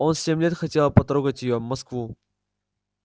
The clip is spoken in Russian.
он семь лет хотел потрогать её москву